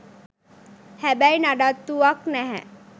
හැබැයි නඩත්තුවක් නැහැ.